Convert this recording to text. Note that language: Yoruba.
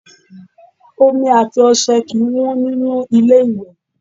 Omi àti ọṣẹ kì í wọ́n nínú ilé-ìwẹ̀